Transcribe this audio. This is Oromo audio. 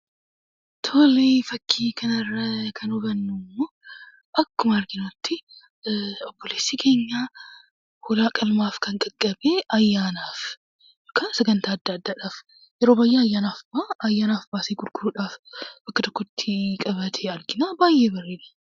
Fakkii kanarraa kan hubannu immoo akkuma arginutti obboleessi keenya hoolaa qalmaaf ayyaanaaf , sagantaa adda addaadhaaf baasee gurguruudhaaf bakka tokkotti qabatee argina. Baay'ee bareeda.